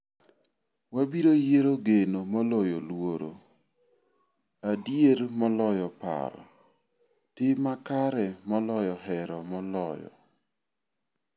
Wabiro yiero geno moloyo luoro, adier moloyo paro, tim makare moloyo hero moloyo.